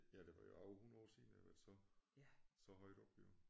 Ja det var jo over 100 år siden at det har været så så højt oppe jo